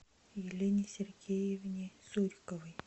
елене сергеевне суриковой